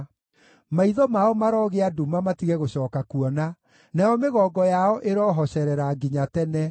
Maitho mao marogĩa nduma matige gũcooka kuona, nayo mĩgongo yao ĩrohocerera nginya tene.